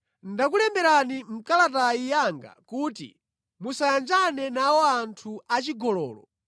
Ndakulemberani mʼkalata yanga kuti musayanjane nawo anthu achigololo.